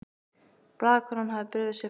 Blaðakonan hafði brugðið sér frá vegna ölsins.